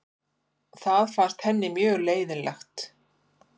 Það fannst henni mjög leiðinlegt.